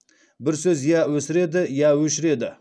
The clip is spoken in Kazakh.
бір сөз я өсіреді я өшіреді